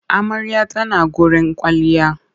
Amarya ta na gurin kwailliya.